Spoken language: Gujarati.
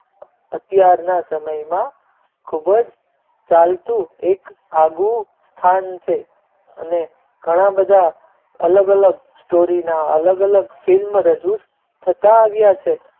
અત્યારના સમયમાં ખૂબ જ ચાલતું એક આગવું સ્થાન છે અને ઘણા બધા અલગ અલગ story ના અલગ અલગ film રજુ થતાં આવ્યા છે